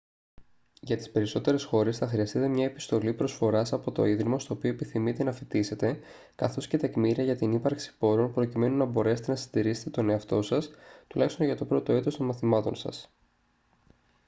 για τις περισσότερες χώρες θα χρειαστείτε μια επιστολή προσφοράς από το ίδρυμα στο οποίο επιθυμείτε να φοιτήσετε καθώς και τεκμήρια για την ύπαρξη πόρων προκειμένου να μπορέσετε να συντηρήσετε τον εαυτό σας τουλάχιστον για το πρώτο έτος των μαθημάτων σας